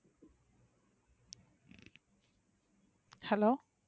hello